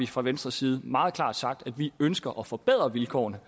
fra venstres side meget klart sagt at vi ønsker at forbedre vilkårene